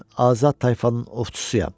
Mən azad tayfanın ovçusuyam.